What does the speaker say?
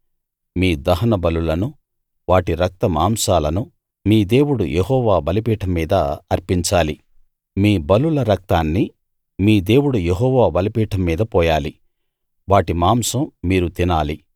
మీ దహనబలులనూ వాటి రక్తమాంసాలనూ మీ దేవుడు యెహోవా బలిపీఠం మీద అర్పించాలి మీ బలుల రక్తాన్ని మీ దేవుడు యెహోవా బలిపీఠం మీద పోయాలి వాటి మాంసం మీరు తినాలి